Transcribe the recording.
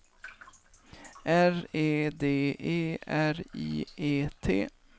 R E D E R I E T